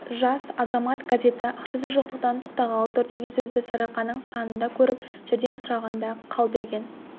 жас азамат газеті ақшасы жоқтықтан тоқтағалы тұр деген сөзді сарыарқаның санында көріп жәрдем сұрағанда қалберген